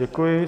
Děkuji.